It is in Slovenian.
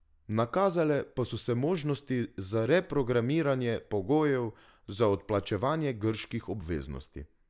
Nakazale pa so se možnosti za reprogramiranje pogojev za odplačevanje grških obveznosti.